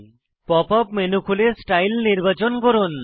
pop up menu খুলে style নির্বাচন করুন